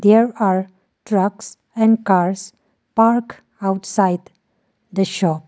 there are trucks and cars parked outside the shop.